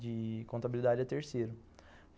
de contabilidade é terceiro.